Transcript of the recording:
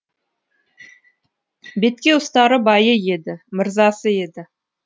бетке ұстары байы еді мырзасы еді